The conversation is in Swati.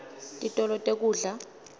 titolo tekudla